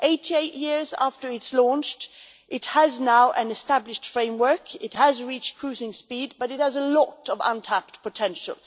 Eight years after it was launched, it now has an established framework and it has reached cruising speed, but it has a lot of untapped potential.